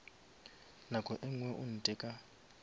nako e ngwe o ntheka